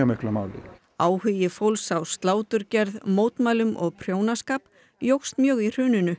máli áhugi fólks á sláturgerð mótmælum og prjónaskap jókst mjög í hruninu